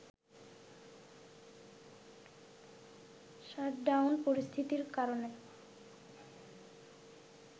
shutdown পরিস্থিতির কারণে